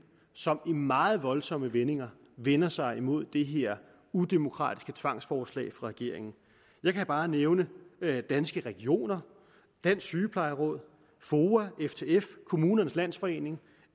som i meget voldsomme vendinger vender sig imod det her udemokratiske tvangsforslag fra regeringen jeg kan bare nævne danske regioner dansk sygeplejeråd foa ftf kommunernes landsforening